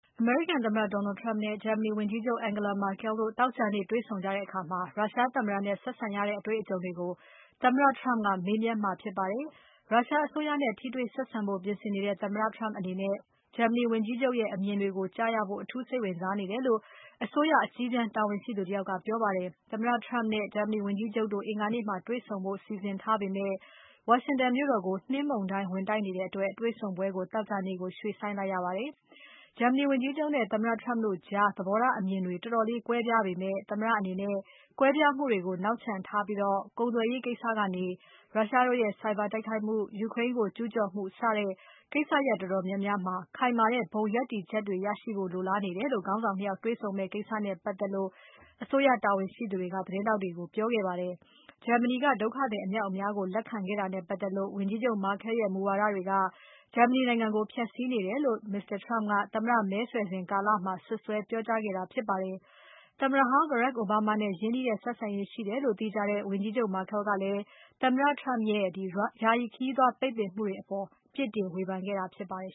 အမေရိကန်သမ္မတ Donald Trump နဲ့ ဂျာမနီဝန်ကြီးချုပ် Angela Merkel တို့ သောကြာနေ့ တေ့ွဆုံကြတဲ့အခါ ရုရှားသမ္မတနဲ့ဆက်ဆံရတဲ့ အတေ့ွအကြုံတွေကို သမ္မတ Trump ကမေးမြန်းမှာဖြစ်ပါတယ်။ ရုရှားအစိုးရနဲ့ ထိတွေ့ ဆက်ဆံဖို့ပြင်ဆင်နေတဲ့ သမ္မတအနေနဲ့ ဂျာမနီဝန်ကြီးချုပ်ရဲ့ အမြင်တွေကိုကြားရဖို့ အထူးစိတ်ဝင်စားနေတယ်လို့ အစိုးရအကြီးတန်းတာဝန်ရှိသူတယောက်က ပြောပါတယ်။ သမ္မတ Trump နဲ့ ဂျာမနီဝန်ကြီးချုပ်တို့ အင်္ဂါနေ့မှာ တေ့ွဆုံကြဖို့ စီစဉ်ထားပေမဲ့ ဝါရှင်တန်မြို့တော်ကို နှင်းမုန်တိုင်းဝင်နေတဲ့အတွက် တွေ့ဆုံပွဲကို သောကြာနေ့ကို ရွှေ့ဆိုင်းထားရပါတယ်။ ဂျာမနီဝန်ကြီးချုပ်နဲ့ သမ္မတ Trump တု့ိကြား သဘောထားအမြင်တွေ တော်တော်လေးကွဲပြားပေမဲ့ သမ္မတအနေနဲ့ ကွဲပြားမှုတွေကို နောက်ချန်ထားပြီး ကုန်သွယ်ရေးကနေ၊ ရုရှားတို့ရဲ့ ဆိုင်ဘာတိုက်ခိုက်မှု၊ ယူကရိန်းကို ကျူးကျော်မှုစတဲ့ ကိစ္စရပ်တော်တော်များများမှာ ခိုင်မာတဲ့ ဘုံရပ်တည်ချက်တွေရရှိဖို့ လိုလားနေတယ်လို့ ခေါင်းဆောင် ၂ ယောက်တေ့ွဆုံမယ့်ကိစ္စနဲ့ပါတ်သက်လို့ အစိုးရတာဝန်ရှိသူတွေက သတင်းထောက်တွေကို ပြောခဲ့ပါတယ်။ ဂျာမနီက ဒုက္ခသည်အမြောက်အများကို လက်ခံခဲ့တာနဲ့ပါတ်သက်လို့ ဝန်ကြီးချုပ် Merkel ရဲ့မူဝါဒတွေက ဂျာမနီနိုင်ငံကို ဖျက်ဆီးနေတယ်လို့ Mr. Trump က သမ္မတမဲဆွယ်စဉ်ကာလမှာ စွပ်စွဲပြောကြားခဲ့တာဖြစ်ပါတယ်။ သမ္မတဟောင်း Barack Obama နဲ့ရင်းနှီးတဲ့ဆက်ဆံရေးရှိတယ်လို့ သိကြတဲ့ ဝန်ကြီးချုပ် Merkel ကလည်း သမ္မတ Trump ရဲ့ ယာယီခရီးသွားပိတ်ပင်မှုတွေအပေါ် ပြစ်တင်ဝေဖန်ခဲ့တာဖြစ်ပါတယ်